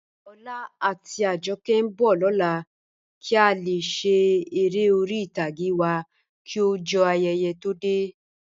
Ọlá àti Àjọ̀kẹ̀ nbọ̀ lọlá kí a lè ṣè èrè orí itàgé wa kí ojó ayéyé tó dẹ̀.